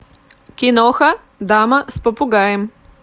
киноха дама с попугаем